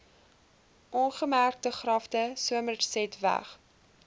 ongemerkte grafte somersetweg